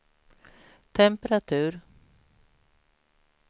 temperatur